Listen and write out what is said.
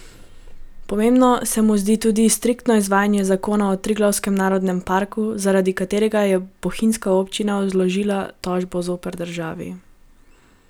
Pomembno se mu zdi tudi striktno izvajanje zakona o Triglavskem narodnem parku, zaradi katerega je bohinjska občina vložila tožbo zoper državo.